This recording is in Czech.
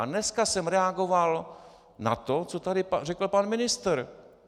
A dneska jsem reagoval na to, co tady řekl pan ministr.